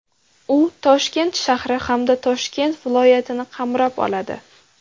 U Toshkent shahri hamda Toshkent viloyatini qamrab oladi.